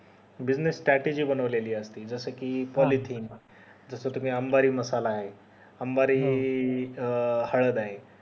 business strategy बनवलेली असते जस कि policy तस तुम्ही अंबारी मसाला ये अंबारी अं हळद हाय